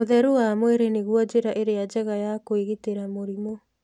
ũtheru wa mwĩrĩ nĩguo njĩra ĩrĩa njega ya kwĩgitĩra mũrimũ.